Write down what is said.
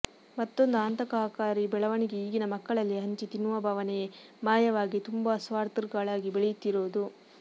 ಮತ್ತೊಂದು ಆತಂಕಕಾರಿ ಬೆಳವಣಿಗೆ ಈಗಿನ ಮಕ್ಕಳಲ್ಲಿ ಹಂಚಿ ತಿನ್ನುವ ಭಾವನೆಯೇ ಮಾಯವಾಗಿ ತುಂಬ ಸ್ವಾಥರ್ಿಗಳಾಗಿ ಬೆಳೆಯುತ್ತಿರುವುದು